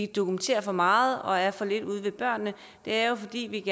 dokumentere for meget og er for lidt ude ved børnene det er jo fordi vi